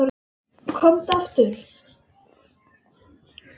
Komdu aftur.